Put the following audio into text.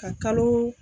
Ka kalo